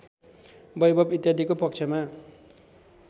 बैभव इत्यादिको पक्षमा